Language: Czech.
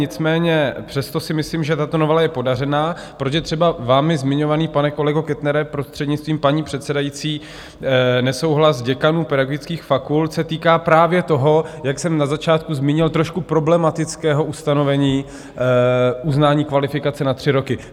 Nicméně přesto si myslím, že tato novela je podařená, protože třeba vámi zmiňovaný, pane kolego Kettnere, prostřednictvím paní předsedající, nesouhlas děkanů pedagogických fakult se týká právě toho, jak jsem na začátku zmínil, trošku problematického ustanovení uznání kvalifikace na tři roky.